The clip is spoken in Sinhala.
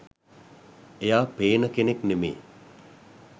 එයා පේන කෙනෙක් නෙමේ